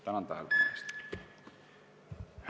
Tänan tähelepanu eest!